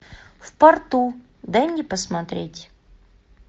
в порту дай мне посмотреть